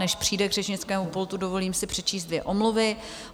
Než přijde k řečnickému pultu, dovolím si přečíst dvě omluvy.